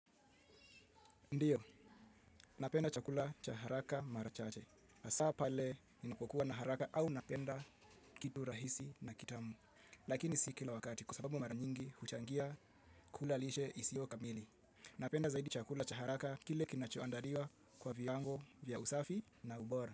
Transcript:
Ndiyo, napenda chakula cha haraka mara chache. Hasa pale ninapokuwa na haraka au napenda kitu rahisi na kitamu. Lakini si kila wakati, kwa sababu mara nyingi, huchangia kula lishe isiyo kamili. Napenda zaidi chakula cha haraka kile kinachoandaliwa kwa viwango vya usafi na ubora.